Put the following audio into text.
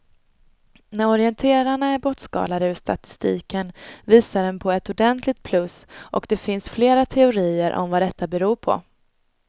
När orienterarna är bortskalade ur statistiken visar den på ett ordentligt plus och det finns flera teorier om vad detta beror på.